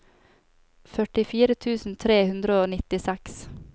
førtifire tusen tre hundre og nittiseks